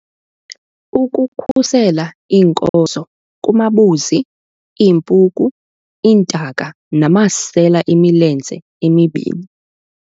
Ukukhusela iinkozo kumabuzi, iimpuku, iintaka namasela emilenze emibini.